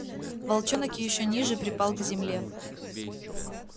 волчонок ещё ниже припал к земле